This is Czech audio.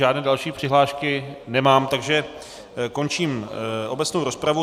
Žádné další přihlášky nemám, takže končím obecnou rozpravu.